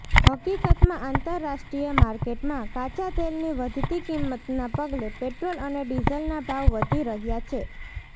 હકીકતમાં આંતરરાષ્ટ્રીય માર્કેટમાં કાચા તેલની વધતી કિંમતના પગલે પેટ્રોલ અને ડીઝલના ભાવ વધી રહ્યા છે